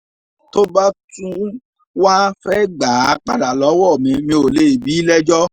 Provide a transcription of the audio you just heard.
tó bá tún wáá fẹ́ẹ́ gbà á padà lọ́wọ́ mi mi ò lè bí i lẹ́jọ́